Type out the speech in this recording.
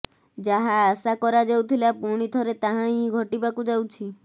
ଯାହା ଆଶା କରାଯାଉଥିଲା ପୁଣି ଥରେ ତାହା ହିଁ ଘଟିବାକୁ ଯାଉଛି